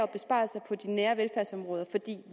besparelser på de nære velfærdsområder